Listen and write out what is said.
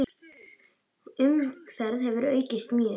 Umferð hefur aukist mjög.